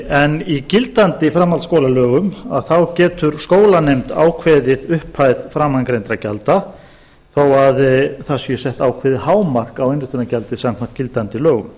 en í gildandi framhaldsskólalögum þá getur skólanefnd ákveðið upphæð framangreindra gjalda þó það sé sett ákveðið hámark á innritunargjaldið samkvæmt gildandi lögum